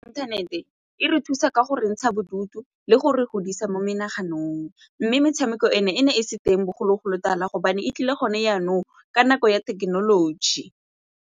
Inthanete e re thusa ka go re ntsha bodutu le gore godisa mo menaganong mme metshameko eno e ne e se teng bogologolo tala gobane e tlile gone jaqnong ka nako ya thekenoloji.